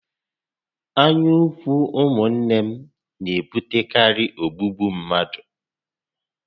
Anya úkwú ụmụ nné n'ebutekarị ogbúgbú mmadụ